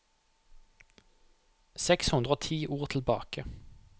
Seks hundre og ti ord tilbake